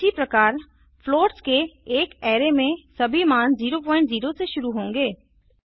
इसी प्रकार फ्लोट्स के एक अराय में सभी मान 00 से शुरू होंगे